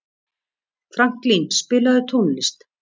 Franklín, spilaðu tónlist.